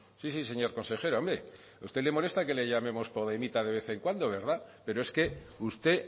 sí sí señor consejero hombre a usted le molesta que le llamemos podemita de vez en cuando verdad pero es que usted